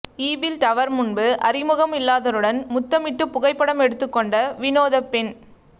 Eiffel tower முன்பு அறிமுகம் இல்லாதருடன் முத்தமிட்டு புகைப்படம் எடுத்துக்கொண்ட வினோத பெண்